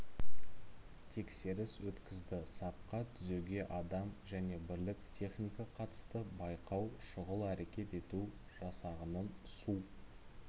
тексеріс өткізді сапқа түзеуге адам және бірлік техника қатысты байқау шұғыл әрекет ету жасағының су